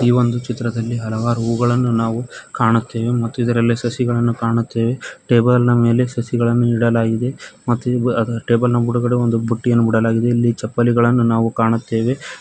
ಈ ಒಂದು ಚಿತ್ರದಲ್ಲಿ ಹಲವಾರು ಹೂಗಳನ್ನು ನಾವು ಕಾಣುತ್ತೆವೆ ಮತ್ತು ಇದರಲ್ಲಿ ಸಸಿಗಳನ್ನು ಕಾಣುತ್ತೆವೆ ಟೇಬಲ್ ನ ಮೇಲೆ ಸಸಿಗಳನ್ನು ಇಡಲಾಗಿದೆ ಮತ್ತೆ ಈ ಬ ಈ ಟೇಬಲ್ ನ ಬುಡುಗಡೆ ಮೇಲೆ ಒಂದು ಬುಟ್ಟಿಯನ್ನು ಬುಡಲಾಗಿದೆ ಇಲ್ಲಿ ಚಪ್ಪಲಿಗಳನ್ನು ನಾವು ಕಾಣುತ್ತೆವೆ.